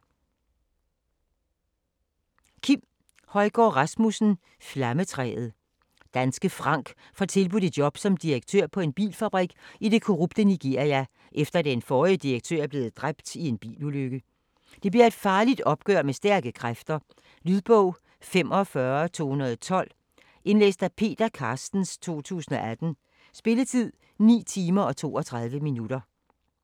Højgaard Rasmussen, Kim: Flammetræet Danske Frank får tilbudt et job som direktør på en bilfabrik i det korrupte Nigeria, efter at den forrige direktør er blevet dræbt i en bilulykke. Det bliver et farligt opgør med stærke kræfter. Lydbog 45212 Indlæst af Peter Carstens, 2018. Spilletid: 9 timer, 32 minutter.